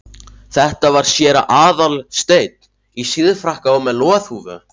Þetta var séra Aðal steinn, í síðfrakka og með loðhúfu.